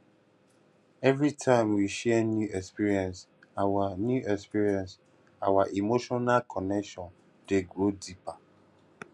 every time we share new experience our new experience our emotional connection dey grow deeper